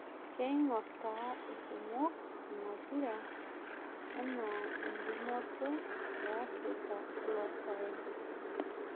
Keingor taata irkumok ina pira enaa entumoto e afirika elosaen